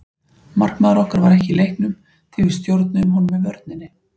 Markmaður okkar var ekki í leiknum því við stjórnuðum honum með vörninni.